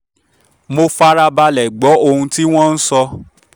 mo fara balẹ̀ gbọ́ ohun tí wọ́n ń sọ